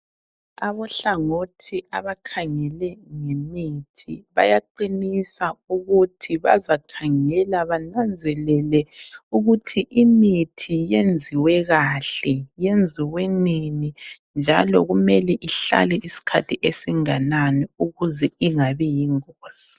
Abohlangothi abakhangele ngemithi bayaqinisa ukuthi bazakhangela bananzelele ukuthi imithi iyenziwe kahle, yenziwe nini njalo kumele ihlale isikhathi esinganani ukuze ingabi yingozi.